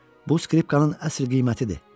Bu skripkanın əsl qiymətidir.